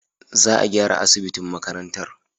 Za a gyara asibitin makarantar.